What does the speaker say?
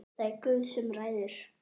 Það er Guð sem ræður.